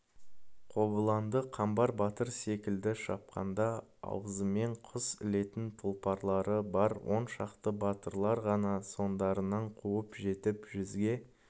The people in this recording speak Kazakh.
қобыланды қамбар батыр секілді шапқанда аузымен құс ілетін тұлпарлары бар он шақты батырлар ғана соңдарынан қуып жетіп жүзге